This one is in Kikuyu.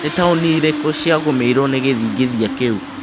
Nĩ taũni irĩkũ ciagũmĩirũo nĩ gĩthingithia kĩu